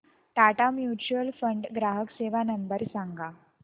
Tata mutual fund ग्राहक सेवा number सांगा